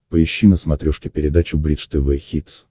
поищи на смотрешке передачу бридж тв хитс